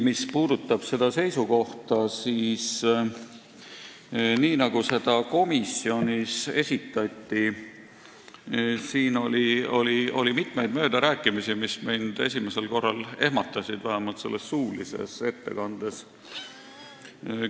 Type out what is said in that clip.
Mis puudutab valitsuse seisukohta, nii nagu seda komisjonis esitati, siis siin oli mitmeid möödarääkimisi, mis mind esimesel korral ehmatasid, vähemalt suulise ettekande puhul.